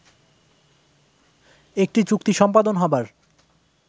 একটি চুক্তি সম্পাদন হবার